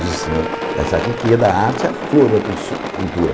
Diz o senhor, da arte é a flor da su cultura.